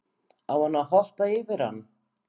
Á hann að hoppa yfir hann?